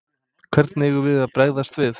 Hvernig eigum við að bregðast við?